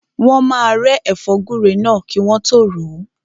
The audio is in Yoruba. Wọ́n máa rẹ́ ẹ̀fọ́ gúre náà kí wọ́n tọ́ ròó.